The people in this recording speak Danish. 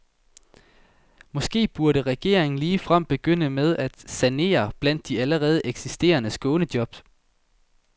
Måske burde regeringen ligefrem begynde med at sanere blandt de allerede eksisterende skånejob.